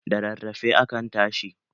Da rarrafe akan tashi